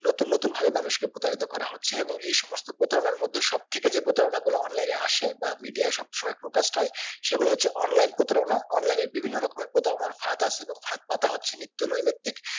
নতুন নতুন ভাবে মানুষ কে প্রতারিত করা হচ্ছে এবং এই সমস্ত প্রতারণার মধ্যে সবথেকে যে প্রতারণা গুলো online এ আসে বা media সব সময় forecast হয় সেগুলো হচ্ছে online প্রতারণা online এ বিভিন্ন রকমের প্রতারণা ফাঁদ আছে বা ফাঁদ পাতা হচ্ছে নিত্য নৈই নোতিক